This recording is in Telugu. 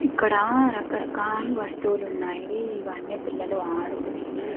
ఇక్కడ రకరకాల వస్తువులు ఉన్నాయి ఇవన్నీ పిల్లలు ఆడుకునేవి --